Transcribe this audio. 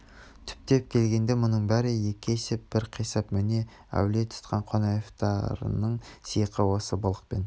түптеп келгенде мұның бәрі екі есеп бір қисап міне әулие тұтқан қонаевтарыңның сиқы осы былық пен